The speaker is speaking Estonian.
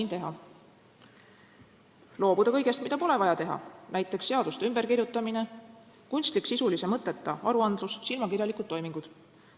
Esiteks, loobuda kõigest, mida pole vaja teha: näiteks seaduste ümberkirjutamine, kunstlik, sisulise mõtteta aruandlus, silmakirjalikud toimingud.